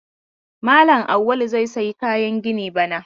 Malam Auwalu zai sayi kayan gini bana.